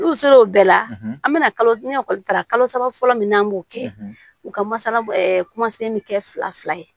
N'u ser'o bɛɛ la an bɛna kalo sara kalo saba fɔlɔ min n'an b'o kɛ u ka masala kuma se bɛ kɛ fila fila ye